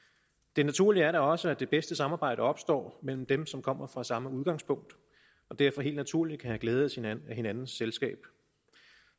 det naturlige er da også at det bedste samarbejde opstår mellem dem som kommer fra samme udgangspunkt og derfor helt naturligt kan have glæde af hinandens selskab